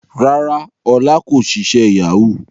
Rárá Ọlá kò ṣiṣẹ́ Yahoo